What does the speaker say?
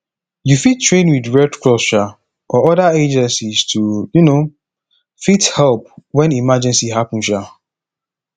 you fit train with red cross um or oda agencies to um fit help when emergency happen um